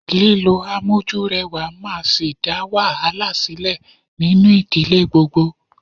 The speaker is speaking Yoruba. Lílo amójúrẹwà máa sì dá wàhálà sílẹ̀ nínú ìdílé gbogbo.